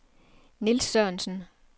Nils Sørensen